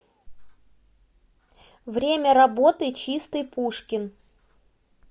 время работы чистый пушкин